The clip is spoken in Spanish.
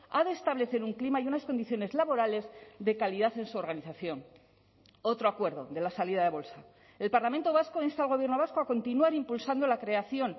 ha de establecer un clima y unas condiciones laborales de calidad en su organización otro acuerdo de la salida de bolsa el parlamento vasco insta al gobierno vasco a continuar impulsando la creación